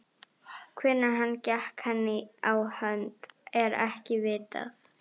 Hvenær hann gekk henni á hönd, er ekki vitað.